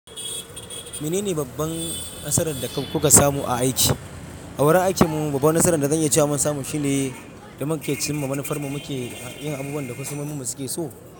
Mene ne babban nasarar da ku ka samu a aiki? A wurin aikinmu babbar nasarar da kake cewa mun samu shine da muke cimma manufar mu muke yin abubuwan da kasuwarmu suke so.